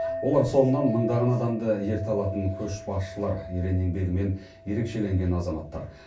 олар соңынан мыңдаған адамды ерте алатын көшбасшылар ерен еңбегімен ерекшеленген азаматтар